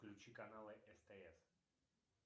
включи каналы стс